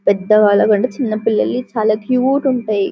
పెద్దవాళ్ల కంటే చిన్న పిల్లలు చాలా క్యూట్ ఉంటాయి.